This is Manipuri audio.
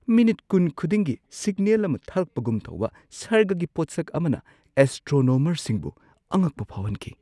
ꯃꯤꯅꯤꯠ ꯲꯰ ꯈꯨꯗꯤꯡꯒꯤ ꯁꯤꯒꯅꯦꯜ ꯑꯃ ꯊꯥꯔꯛꯄꯒꯨꯝ ꯇꯧꯕ ꯁꯔꯒꯒꯤ ꯄꯣꯠꯁꯛ ꯑꯃꯅ ꯑꯦꯁꯇ꯭ꯔꯣꯅꯣꯃꯔꯁꯤꯡꯕꯨ ꯑꯉꯛꯄ ꯐꯥꯎꯍꯟꯈꯤ꯫